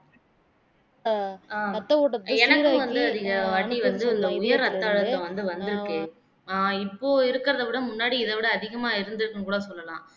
எனக்கும் வந்து இந்த வாட்டி வந்து உயர் ரத்த அழுத்தம் வந்து வந்திருக்கு ஆஹ் இப்போ இருக்கிறதை விட முன்னாடி இதை விட அதிகமா இருந்ததுன்னு கூட சொல்லலாம்